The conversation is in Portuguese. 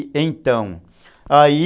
E então, aí...